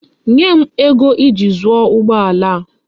Nye m ego eji zuo ugbo ala a.